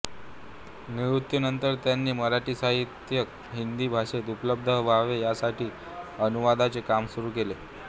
निवृत्तीनंतर त्यांनी मराठी साहित्य हिंदी भाषेत उपलब्ध व्हावे यासाठी अनुवादाचे काम सुरू केले